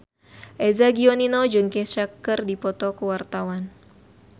Eza Gionino jeung Kesha keur dipoto ku wartawan